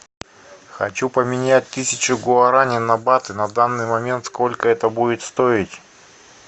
хочу поменять тысячу гуарани на баты на данный момент сколько это будет стоить